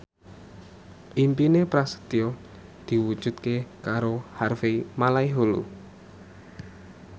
impine Prasetyo diwujudke karo Harvey Malaiholo